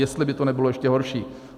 Jestli by to nebylo ještě horší.